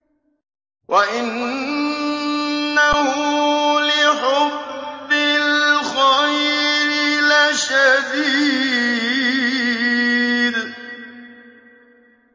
وَإِنَّهُ لِحُبِّ الْخَيْرِ لَشَدِيدٌ